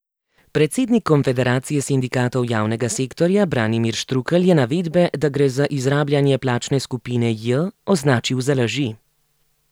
Predsednik konfederacije sindikatov javnega sektorja Branimir Štrukelj je navedbe, da gre za izrabljanje plačne skupine J, označil za laži.